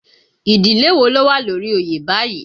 Ìdílé wo ló wà lórí oyè báyìí?